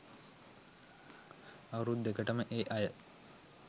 අවුරුදු දෙකටම ඒ අය